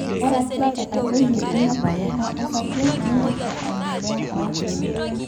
ore ake etadoyie ina kwetata osarge nintoki aendelea aok irkeek